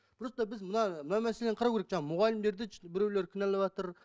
просто біз мына мына мәселені қарау керек жаңа мұғалімдерді біреу кінәлаватыр